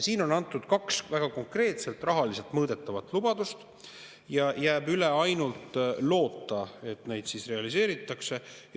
Siin on antud kaks väga konkreetset rahaliselt mõõdetavat lubadust ja jääb üle ainult loota, et neid realiseeritakse.